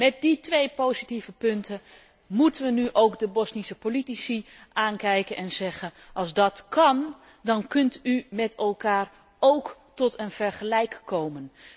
Met die twee positieve punten moeten we nu ook de Bosnische politici aankijken en zeggen Als dat kan, dan kunt u met elkaar ook tot een vergelijk komen.